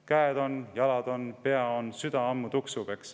Käed on, jalad on, pea on, süda ammu tuksub.